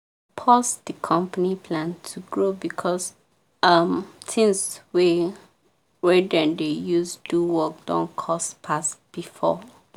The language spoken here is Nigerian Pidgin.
pause the company plan to grow because um things wey wey dem dey use do work don cost pass before.